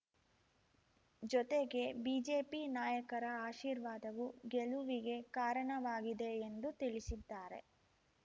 ಜೊತೆಗೆ ಬಿಜೆಪಿ ನಾಯಕರ ಆಶೀರ್ವಾದವೂ ಗೆಲುವಿಗೆ ಕಾರಣವಾಗಿದೆ ಎಂದು ತಿಳಿಸಿದ್ದಾರೆ